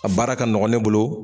A baara ka nɔgɔn ne bolo